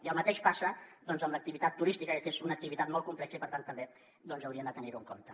i el mateix passa amb l’activitat turística que és una activitat molt complexa i per tant també hauríem de tenir ho en compte